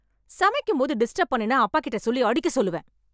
சமைக்கும் போது டிஸ்டப் பண்ணுன அப்பாக் கிட்ட சொல்லி அடிக்க சொல்லுவேன்